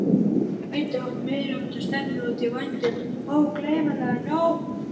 Hann gæti átt meiriháttar stefnumót í vændum, ógleymanlega nótt!